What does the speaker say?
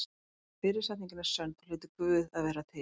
Og ef fyrri setningin er sönn þá hlýtur Guð að vera til.